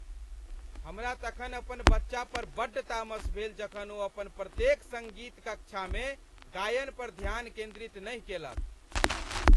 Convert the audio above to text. हमरा तखन अपन बच्चा पर बड्ड तामस भेल जखन ओ अपन प्रत्येक सङ्गीत कक्षामे गायन पर ध्यान केन्द्रित नहि केलक।